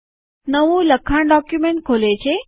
નવું લખાણ ડોક્યુમેન્ટ ખોલે છે